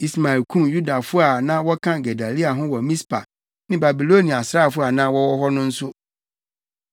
Ismael kum Yudafo a na wɔka Gedalia ho wɔ Mispa ne Babilonia asraafo a na wɔwɔ hɔ no nso.